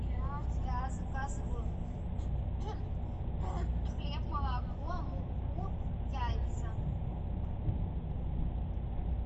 я заказываю хлеб молоко муку яйца